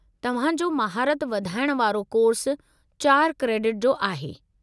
तवहां जो महारत वधाइण वारो कोर्सु चार क्रेडिट जो आहे।